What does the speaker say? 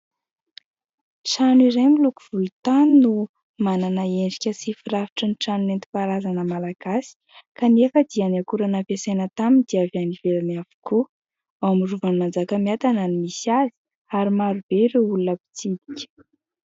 Trano iray miloko volontany no manana endrika sy firafitry ny trano nentim-paharazana malagasy. Kanefa dia ny akora nampiasaina taminy dia avy any ivelany avokoa. Ao amin'ny Rovan'i Manjakamiadana no misy azy, ary maro be ireo olona mpitsidika.